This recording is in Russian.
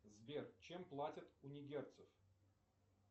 сбер чем платят у нигерцев